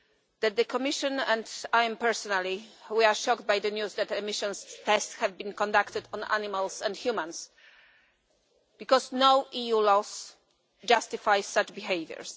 that the Commission, and I personally, are shocked by the news that emissions tests have been conducted on animals and humans, because no EU laws justify such behaviour.